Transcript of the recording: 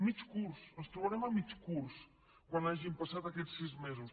mig curs ens trobarem a mig curs quan hagin passat aquests sis mesos